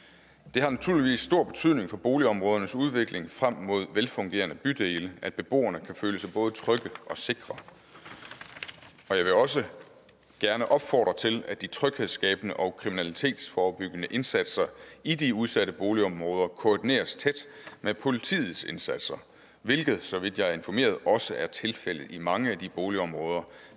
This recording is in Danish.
det har naturligvis stor betydning for boligområdernes udvikling frem mod velfungerende bydele at beboerne kan føle sig både trygge og sikre jeg vil også gerne opfordre til at de tryghedsskabende og kriminalitetsforebyggende indsatser i de udsatte boligområder koordineres tæt med politiets indsatser hvilket så vidt jeg er informeret også er tilfældet i mange af de boligområder